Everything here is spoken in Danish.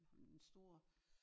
Ham den store